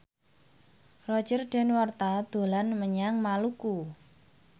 Roger Danuarta dolan menyang Maluku